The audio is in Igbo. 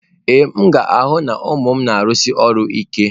Ee, m ga-ahụ na ụmụ m na-arụsi ọrụ ike.